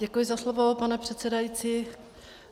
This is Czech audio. Děkuji za slovo, pane předsedající.